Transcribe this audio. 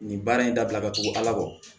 Nin baara in dabila ka tugu ala kɔ